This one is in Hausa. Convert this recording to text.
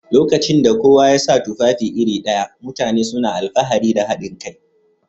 Lokacin da kowa ya sa tufafi iri ɗaya, mutane suna alfahari da haɗin kai